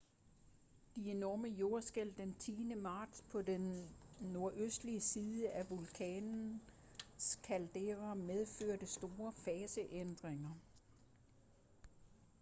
de enorme jordskælv den 10. marts på den nordøstlige side af vulkanens caldera medførte store faseændringer